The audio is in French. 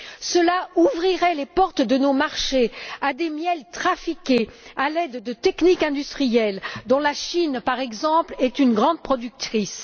Cela ouvrirait les portes de nos marchés à des miels trafiqués à l'aide de techniques industrielles dont la Chine, par exemple, est une grande productrice.